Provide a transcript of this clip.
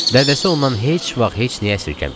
Dədəsi ondan heç vaxt heç nəyi əsirgəməyib.